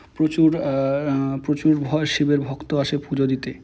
প্রচুর আ অ্যা প্রচুর ভ শিবের ভক্ত আসে পুজা দিতে।